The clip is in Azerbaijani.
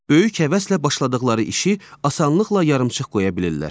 Böyük həvəslə başladıqları işi asanlıqla yarımçıq qoya bilirlər.